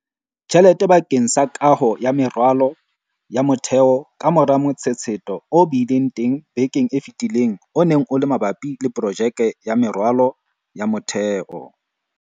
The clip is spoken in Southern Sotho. Tjhelete bakeng sa kaho ya meralo ya motheo kamora motshetshetho o bileng teng bekeng e fetileng o neng o le mabapi le projeke ya meralo ya motheo.